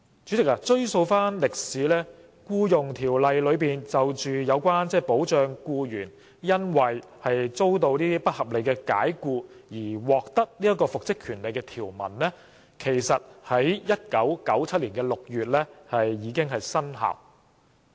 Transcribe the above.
主席，追溯歷史，《僱傭條例》內有關保障僱員因遭不合理解僱而獲得復職權利的條文，在1997年6月已生效。